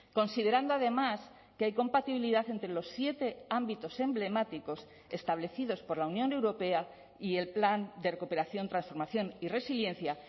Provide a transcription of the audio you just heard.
considerando además que hay compatibilidad entre los siete ámbitos emblemáticos establecidos por la unión europea y el plan de recuperación transformación y resiliencia